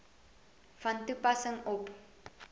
van toepassing op